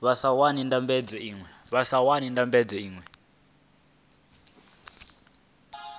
vha sa wani ndambedzo iṅwe